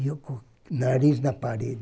E eu com o nariz na parede.